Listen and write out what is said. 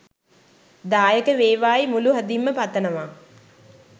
දායක වේවායි මුළු හදින්ම පතනවා